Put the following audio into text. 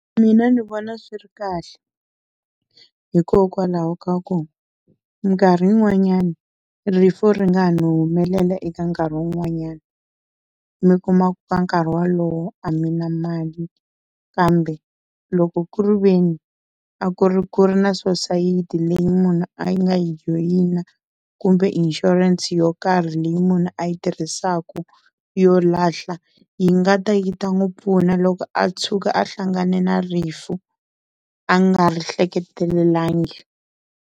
Mina ndzi vona swi ri kahle, hikokwalaho ka ku minkarhi yin'wanyani rifu ri nga ha no humelela eka nkarhi wun'wanyani mi kuma ku ka nkarhi wolowo a mi na mali. Kambe loko ku ri veni a ku ri ku ri na sosayiti leyi munhu a yi nga yi joyina kumbe inshurense yo karhi leyi munhu a yi tirhisaka yo lahla yi nga ta yi ta n'wi pfuna loko a tshuka a hlangane na rifu a nga ri hleketelelangi.